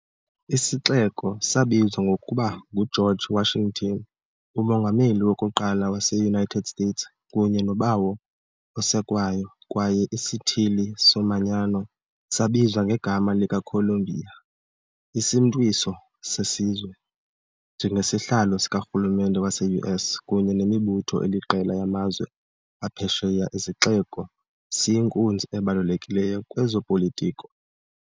Isixeko sabizwa ngokuba nguGeorge Washington, umongameli wokuqala wase-United States kunye noBawo oSekwayo, kwaye isithili somanyano sabizwa ngegama likaColumbia, isimntwiso sesizwe. Njengesihlalo sikarhulumente wase-US kunye nemibutho eliqela yamazwe aphesheya, isixeko siyinkunzi ebalulekileyo kwezopolitiko.